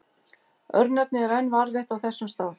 Örnefnið er enn varðveitt á þessum stað.